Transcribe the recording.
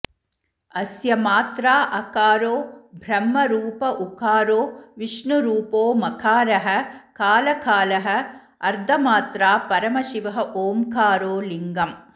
अस्य मात्रा अकारो ब्रह्मरूप उकारो विष्णुरूपो मकारः कालकालः अर्धमात्रा परमशिवः ओङ्कारो लिङ्गम्